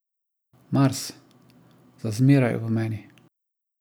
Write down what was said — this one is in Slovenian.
Mars, za zmeraj v meni.